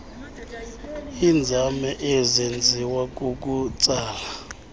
inzame isenziwa kukutsala